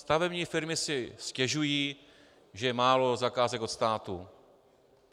Stavební firmy si stěžují, že je málo zakázek od státu.